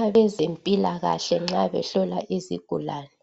abezempilakahle nxa behlola izigulane